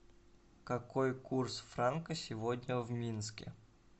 какой курс франка сегодня в минске